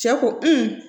Cɛ ko